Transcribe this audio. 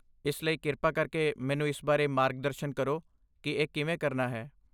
ਇਸ ਲਈ, ਕਿਰਪਾ ਕਰਕੇ ਮੈਨੂੰ ਇਸ ਬਾਰੇ ਮਾਰਗਦਰਸ਼ਨ ਕਰੋ ਕਿ ਇਹ ਕਿਵੇਂ ਕਰਨਾ ਹੈ।